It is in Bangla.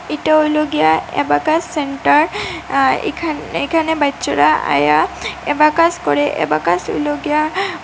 এইটা হইলো গিয়া অ্যাবাকাস সেন্টার আঃ এখা-এখানে বাইচ্চোরা আইয়া অ্যাবাকাস করে অ্যাবাকাস হইলো গিয়া--